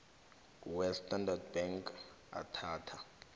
westandard bank athatha